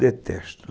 Detesto.